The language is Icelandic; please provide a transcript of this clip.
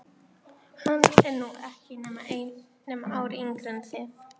Hann er nú ekki nema ári yngri en þið.